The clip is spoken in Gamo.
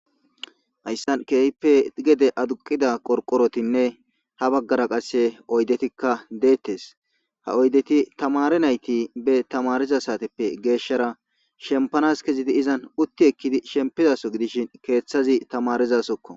Haysan kehipe gede aduqida qorqorotinne ha bagara qase oydetikka detese ha oydeti tamare nayti bes tamariza sateppe geshara shenpanas kezidi iza uti ekkidi shenpizaso gidishin kethazi tamarizasokko